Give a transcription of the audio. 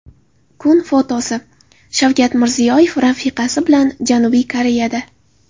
Kun fotosi: Shavkat Mirziyoyev rafiqasi bilan Janubiy Koreyada .